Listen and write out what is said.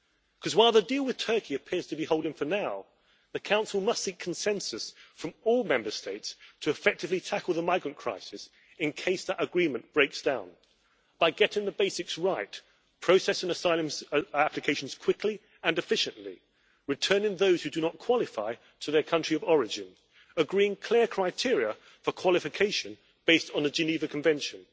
Because while the deal with Turkey appears to be holding for now, the Council must seek consensus from all Member States to effectively tackle the migrant crisis, in case that agreement breaks down, by getting the basics right processing asylum applications quickly and efficiently, returning those who do not qualify to their country of origin, agreeing clear criteria for qualification, based on the Geneva Convention